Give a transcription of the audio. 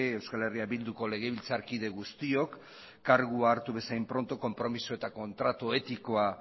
euskal herria bilduko legebiltzarkide guztiok kargua hartu bezain pronto konpromezu eta kontratu etikoa